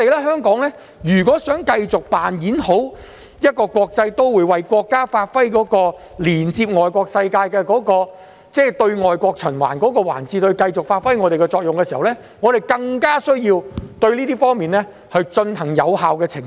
香港如果想繼續扮演好國際都會的角色，為國家發揮連接外國世界、在對外國循環的環節中繼續發揮我們的作用，我們便更有需要對這方面進行有效澄清。